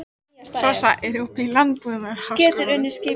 Sossa, er opið í Landbúnaðarháskólanum?